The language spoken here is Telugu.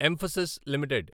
emphasis limited